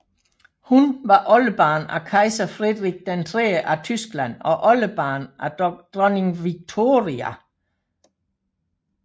Hun var oldebarn af kejser Frederik III af Tyskland og oldebarn af dronning Victoria